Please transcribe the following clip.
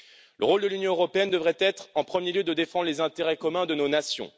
Le rôle de l'Union européenne devrait être, en premier lieu, de défendre les intérêts communs de nos nations.